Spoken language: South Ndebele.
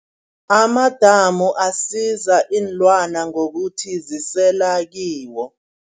Amadamu asiza iinlwana ngokuthi zisela kiwo.